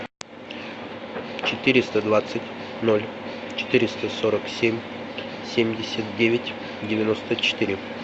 четыреста двадцать ноль четыреста сорок семь семьдесят девять девяносто четыре